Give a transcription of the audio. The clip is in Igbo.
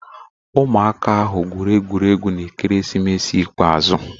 Ụmụaka ahụ gwụrụ egwuregwu na ekeresimesi ikpeazụ.